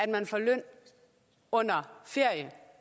man får løn under en ferie eller